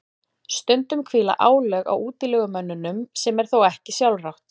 stundum hvíla álög á útilegumönnunum sem er þá ekki sjálfrátt